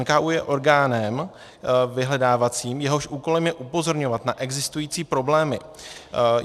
NKÚ je orgánem vyhledávacím, jehož úkolem je upozorňovat na existující problémy.